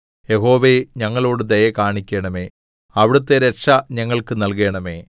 യഹോവേ ഞങ്ങളോട് ദയ കാണിക്കണമേ അവിടുത്തെ രക്ഷ ഞങ്ങൾക്ക് നല്കണമേ